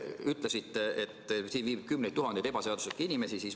Ütlesite, et siin viibib kümneid tuhandeid ebaseaduslikke inimesi.